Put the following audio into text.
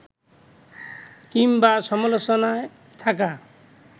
কিংবা সমালোচনায় থাকা